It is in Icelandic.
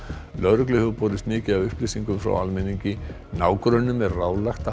lögreglu hefur borist mikið af upplýsingum frá almenningi nágrönnum er ráðlagt að